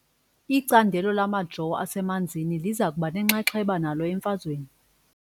Icandelo lamajoo asemanzini liza kuba nenxaxheba nalo emfazweni .